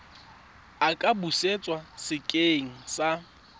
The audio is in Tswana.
a ka busetswa sekeng sa